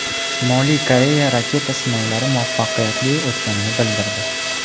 Shimoliy Koreya raketa sinovlari muvaffaqiyatli o‘tganini bildirdi.